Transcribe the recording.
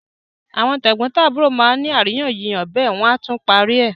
Àwọn tẹ̀gbọ́ntàbúrò má ni àríyànjiyàn bẹ́ẹ̀ wọ́n á tún parí ẹ̀.